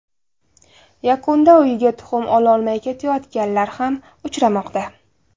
Yakunda uyiga tuxum ololmay ketayotganlar ham uchramoqda.